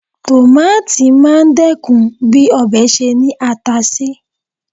Tòmáátì máa dẹ́kun bí ọbẹ̀ ṣe ní ata sí.